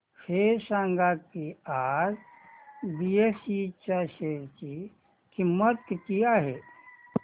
हे सांगा की आज बीएसई च्या शेअर ची किंमत किती आहे